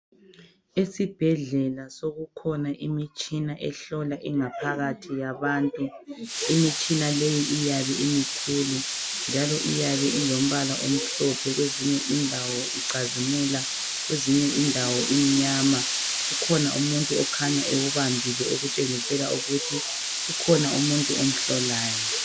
Esibhedlela sokukhona imitshina ehlola ingaphakathi yabantu imitshina leyi iyabe imikhulu njalo iyabe ilombala omhlophe kwezinye indawo icazimula kwezinye indawo imnyama kukhona umuntu okhanya ewubambile okutshengisela ukuthi kukhona umuntu omhlolayo.